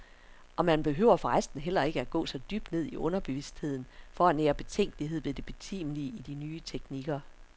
Og man behøver for resten heller ikke at gå så dybt ned i underbevidstheden for at nære betænkelighed ved det betimelige i de nye teknikker.